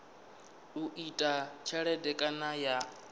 u ita tshelede kana ya